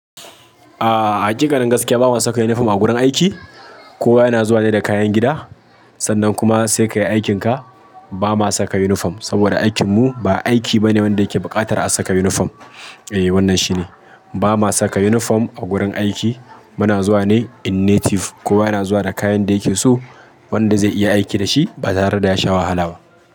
A hakikanin gaskiya ba ma saka uniform a gurin aiki. Kowa yana zuwa ne da kayan gida sannan kuma sai ka yi aikinka. Ba ma saka uniform saboda aikin mu ba aiki bane wanda yake buƙatar a saka uniform. Eh wannan shi ne, ba ma saka uniform a gurin aiki. Muna zuwa ne in native, kowa yana zuwa da kayan da yake so wanda zai iya aiki da shi ba tare da ya sha wahala ba.